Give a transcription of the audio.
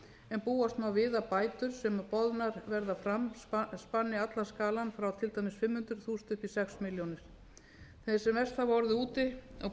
en búast má við að bætur sem boðnar verða fram spanni allan skalann frá til dæmis fimm hundruð þúsund upp í sex milljónir þeir sem verst hafa orðið úti og